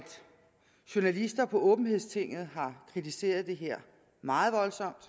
journalister på åbenhedstinget har kritiseret det her meget voldsomt